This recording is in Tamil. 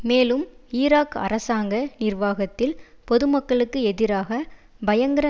மேலும் ஈராக் அரசாங்க நிர்வாகத்தில் பொதுமக்களுக்கு எதிராக பயங்கர